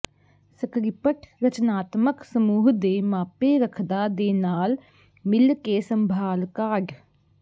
script ਰਚਨਾਤਮਕ ਸਮੂਹ ਦੇ ਮਾਪੇ ਰੱਖਦਾ ਦੇ ਨਾਲ ਮਿਲ ਕੇ ਸੰਭਾਲ ਕਾਢ